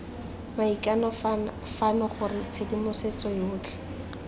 maikano fano gore tshedimosetso yotlhe